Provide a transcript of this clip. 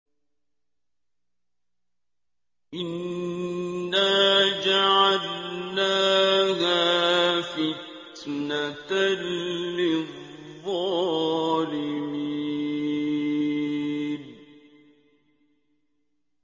إِنَّا جَعَلْنَاهَا فِتْنَةً لِّلظَّالِمِينَ